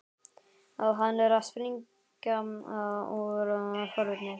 Hann er að springa úr forvitni.